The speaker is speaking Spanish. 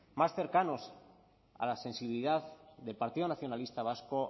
más cercanos a la sensibilidad del partido nacionalista vasco